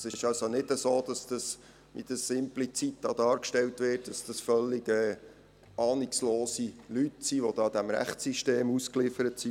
Es ist also nicht so, wie es implizit dargestellt wird, wonach diese Leute völlig ahnungslos und diesem Rechtssystem ausgeliefert sind.